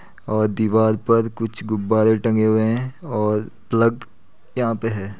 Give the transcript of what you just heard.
और दिवार पर कुछ गुब्बारे टंगे हुए हैं और प्लग यहाँ पे है।